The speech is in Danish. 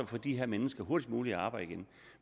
få de her mennesker hurtigst muligt i arbejde igen